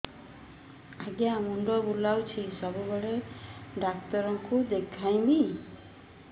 ଆଜ୍ଞା ମୁଣ୍ଡ ବୁଲାଉଛି ସବୁବେଳେ କେ ଡାକ୍ତର କୁ ଦେଖାମି